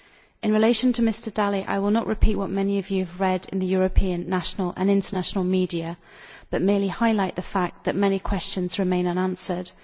In relation to Mr Dalli, I will not repeat what many of you have read in the European, national and international media, which merely highlights the fact that many questions remain unanswered.